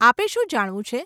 આપે શું જાણવું છે?